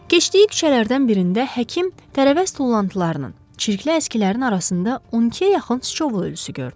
Keçdiyi küçələrdən birində həkim tərəvəz tullantılarının, çirkli əskilərin arasında 12-yə yaxın sıçovul ölüsü gördü.